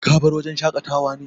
Ka bar wajen shakata wa ne?